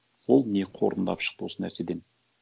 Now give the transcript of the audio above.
ол не қорытындылап шықты осы нәрседен